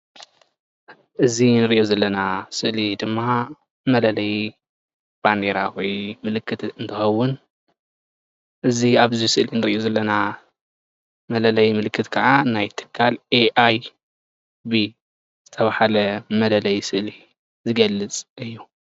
እዚ እንርእዮ ዘለና ስእሊ ድማ መለለይ ባንዴራ ወይ ምልክት እንትኸውን ፤ እዚ ኣብዚ ስእሊ እንርእዮ ዘለና መለለይ ምልክት ከዓ ናይ ትካል ኤኣይቢ ዝተብሃለ መለለይ ስእሊ ዝገልፅ እዩ።